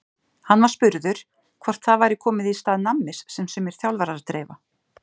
Hann var spurður hvort það væri komið í stað nammis sem sumir þjálfarar dreifa?